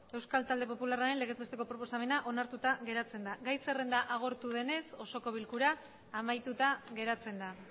euskal talde popularraren legez besteko proposamena onartuta geratzen da gai zerrenda agortu denez osoko bilkura amaituta geratzen da